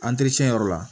yɔrɔ la